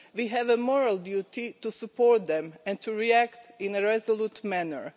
have a moral duty to support them and to react in a resolute manner.